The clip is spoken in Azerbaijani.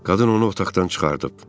Qadın onu otaqdan çıxardıb.